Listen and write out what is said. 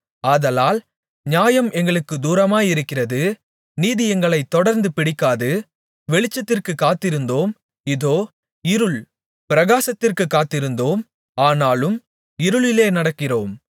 ஆதலால் நியாயம் எங்களுக்குத் தூரமாயிருக்கிறது நீதி எங்களைத் தொடர்ந்து பிடிக்காது வெளிச்சத்திற்குக் காத்திருந்தோம் இதோ இருள் பிரகாசத்திற்குக் காத்திருந்தோம் ஆனாலும் இருளிலே நடக்கிறோம்